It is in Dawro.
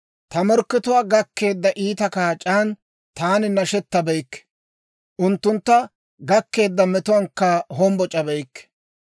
«Ta morkkatuwaa gakkeedda iita kaac'aan taani nashetabeykke; unttuntta gakkeedda metuwaankka hombboc'abeykke.